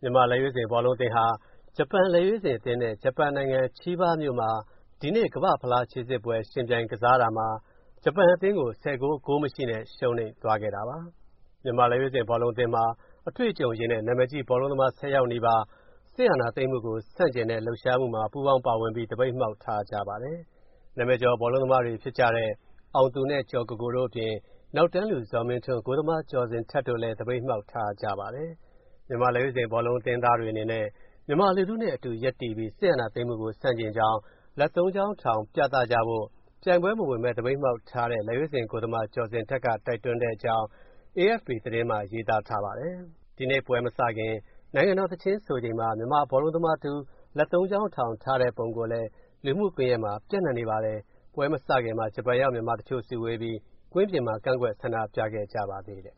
မြန်မာ့လက်ရွေးစင်ဘောလုံးအသင်းဟာ ဂျပန်လက်ရွေးစင်အသင်းနဲ့ ဂျပန်နိုင်ငံ Chiba မြို့မှာ ဒီကနေ့ ကမ္ဘာ့ဖလားခြေစစ်ပွဲယှဉ်ပြိုင်ကစားတာမှာ ဂျပန်အသင်းကို ၁၀ ဂိုး ဂိုးမရှိနဲ့ ရှုံးနိမ့်သွားပါတယ်။ မြန်မာ့လက်ရွေးစင်ဘောလုံးအသင်းမှာ အတွေ့အကြုံရင့်တဲ့ နာမည်ကြီး ဘောလုံးသမား ၁၀ ယောက်နီးပါး အာဏာသိမ်းမှုကိုဆန့်ကျင်တဲ့ လှုပ်ရှားမှုမှာ ပူးပေါင်းပါဝင်ပြီး သပိတ်မှောက်ထားကြပါတယ်။ နာမည်ကျော် ဘောလုံးသမားတွေဖြစ်ကြတဲ့ အောင်သူနဲ့ ကျော်ကိုကိုတို့အပြင် နောက်တန်းလူ ဇော်မင်းထွန်း၊ ဂိုးသမား ကျော်ဇင်ထက်တို့လည်း သပိတ်မှောက်ထားကြတာပါ။ မြန်မာလက်ရွေးစင် ဘောလုံးအသင်းသားတွေအနေနဲ့မြန်မာလူထုနဲ့အတူ ရပ်တည်ပြီး စစ်အာဏာသိမ်းမှုကို ဆန့်ကျင်ကြောင်း လက်သုံးချောင်းထောင် ပြသကြဖို့ ပြိုင်ပွဲမဝင်ဘဲ သပိတ်မှောက်ထားတဲ့ လက်ရွေးစင်ဂိုးသမား ကျော်ဇင်ထက်က တိုက်တွန်းတဲ့အကြောင်း AFP သတင်းမှာရေးထားပါတယ်။ ဒီကနေ့ပွဲမစခင် နိုင်ငံတော်သီချင်းသီဆိုချိန်မှာ မြန်မာဘောလုံးသမားတဦး လက်သုံးချောင်းထောင်ထားတဲ့ပုံလည်း လူမှုကွန်ယက်မှာ ပျံ့နှံ့နေပါတယ်။ ပွဲမစခင်မှာ ဂျပန်ရောက် မြန်မာတချို့စုဝေးပြီး ကွင်းပြင်မှာ ကန့်ကွက်ဆန္ဒပြခဲ့ကြပါသေးတယ်။ လက်